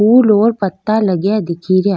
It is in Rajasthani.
फूल और पत्ता लगा दिखेरा।